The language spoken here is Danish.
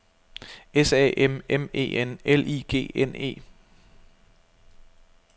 S A M M E N L I G N E